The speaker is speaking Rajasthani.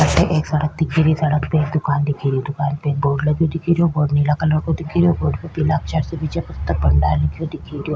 अठे एक सड़क दिख री सड़क पे एक दुकान दिख री दुकान पे एक बोर्ड लगो दिख राे बोर्ड नीला कलर को दिख रीयो बोर्ड पर पीला अक्षर से विजय पुस्तक भंडार लिख्यो दिखेरो।